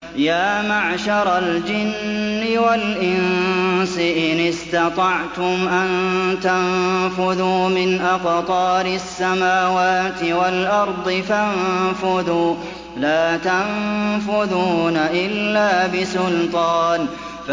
يَا مَعْشَرَ الْجِنِّ وَالْإِنسِ إِنِ اسْتَطَعْتُمْ أَن تَنفُذُوا مِنْ أَقْطَارِ السَّمَاوَاتِ وَالْأَرْضِ فَانفُذُوا ۚ لَا تَنفُذُونَ إِلَّا بِسُلْطَانٍ